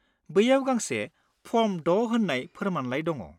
बैयाव गांसे फर्म 6 होन्नाय फोरमायलाइ दङ।